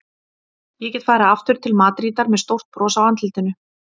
Ég get farið aftur til Madrídar með stórt bros á andlitinu.